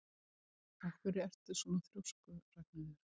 Af hverju ertu svona þrjóskur, Ragnheiður?